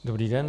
Dobrý den.